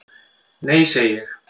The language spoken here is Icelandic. """Nei, segi ég."""